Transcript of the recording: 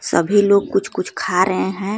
सभी लोग कुछ कुछ खा रहे हैं।